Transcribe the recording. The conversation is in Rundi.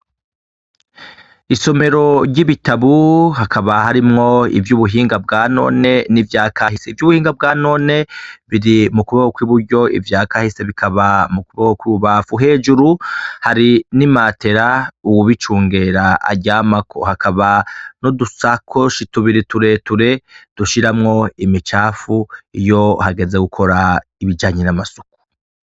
Isomero ry'ibitabu hakaba harimwo ivy'ubuhinga bwanone n'ivya kahise, ivy'ubuhinga bwanone biri mu kuboko kw'i buryo, ivya kahise bikaba mu kuboko kw'ububafu, hejuru hari n'imatera uwubicungera aryamako, hakaba n'udusakoshi tubiri tureture dushiramwo imicafu iyo hageze gukora ibijanye n'amasuku.